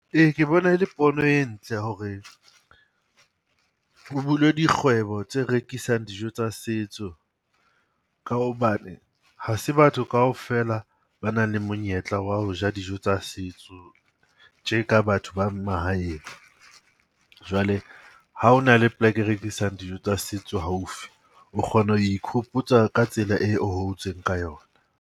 Ee, ke bona e le pono e ntle hore ho bulwe dikgwebo tse rekisang dijo tsa setso. Ka hobane ha se batho kaofela ba nang le monyetla wa ho ja dijo tsa setso tje ka batho ba mahaeng. Jwale ha ho na le poleke e rekisang dijo tsa setso haufi, o kgona ho ikhopotsa ka tsela eo o hotseng ka yona.